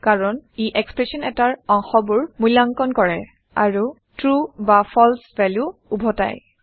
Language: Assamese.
কাৰণ ই এক্সপ্ৰেচন এটাৰ অংশবোৰ মূল্যাংকন কৰে আৰু ট্ৰু বা ফালছে ভেলু উভতাই